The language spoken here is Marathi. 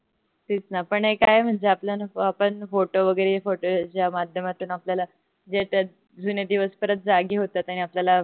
तेच न पण एक आहे म्हणजे आपल्या आपण photo वगरे ज्या मध्यामातून आपल्याला ज्याच्यात जुने दिवस जागे होतात आणि आपल्याला